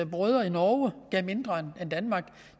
brødre i norge giver mindre end danmark